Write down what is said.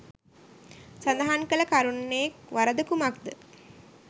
සදහන් කල කරුණේ වරද කුමක්ද?